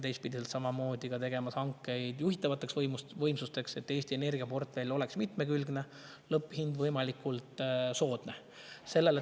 Teistpidi teeme ka hankeid juhitavate võimsuste, et Eesti energiaportfell oleks mitmekülgne ja lõpphind võimalikult soodne.